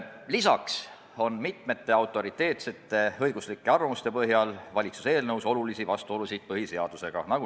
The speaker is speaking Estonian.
Lisaks on valitsuse eelnõus mitmete autoriteetsete õiguslike arvamuste põhjal suuri vastuolusid põhiseadusega.